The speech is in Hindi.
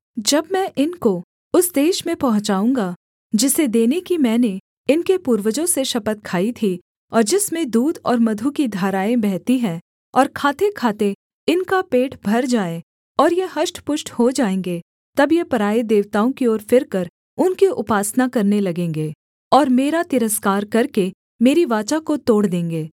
जब मैं इनको उस देश में पहुँचाऊँगा जिसे देने की मैंने इनके पूर्वजों से शपथ खाई थी और जिसमें दूध और मधु की धाराएँ बहती हैं और खातेखाते इनका पेट भर जाए और ये हष्टपुष्ट हो जाएँगे तब ये पराए देवताओं की ओर फिरकर उनकी उपासना करने लगेंगे और मेरा तिरस्कार करके मेरी वाचा को तोड़ देंगे